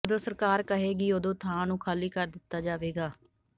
ਜਦੋਂ ਸਰਕਾਰ ਕਹੇਗੀ ਉਦੋਂ ਥਾਂ ਨੂੰ ਖਾਲੀ ਕਰ ਦਿੱਤਾ ਜਾਵੇਗਾ